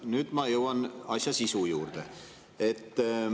Nüüd ma jõuan asja sisu juurde.